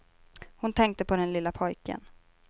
Hon tänkte på den lilla pojken.